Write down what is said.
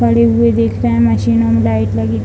पड़े हुए दिख रहे हैंमशीनों में लाइट लगी --